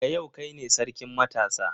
Daga yau kai ne sarkin matasa.